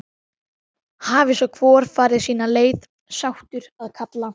Hafi svo hvor farið sína leið, sáttur að kalla.